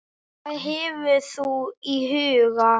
Hvað hefur þú í huga?